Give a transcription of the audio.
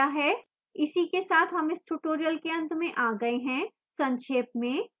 इसी के साथ हम इस tutorial के अंत में आ गए हैं संक्षेप में